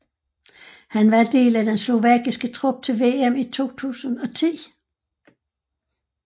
Han var en del af den slovakiske trup til VM i 2010